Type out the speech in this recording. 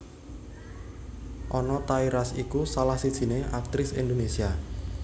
Anna Tairas iku salah sijiné aktris Indonesia